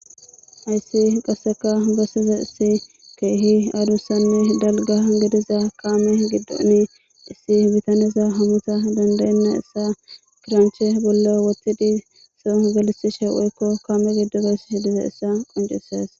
Haysi qaseka besidaysi keehi adusanne dalga gidiza keeme gidon issi bitanezi hamutha danda'ennaysa kiraniche bolla wothid kaame gidon gelithishe dizaysa qoncises